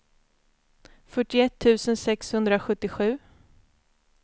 fyrtioett tusen sexhundrasjuttiosju